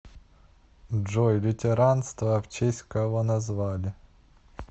джой лютеранство в честь кого назвали